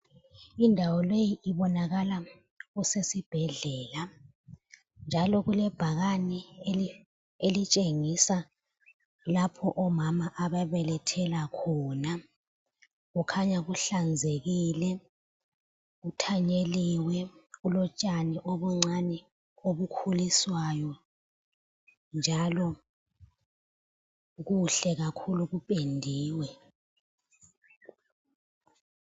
Indawo leyi ibonakala kusesibhedlela, njalo kulebhakani elitshengisa lapho omama ababelethela khona. Kukhanya kuhlanzekile, kuthanyeliwe kulotshani obuncane obukhuliswayo njalo kuhle kakhulu kupendiwe.